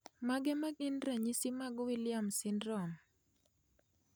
Mage magin ranyisi mag Williams syndrome?